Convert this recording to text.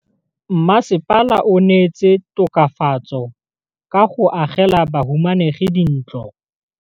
Mmasepala o neetse tokafatsô ka go agela bahumanegi dintlo.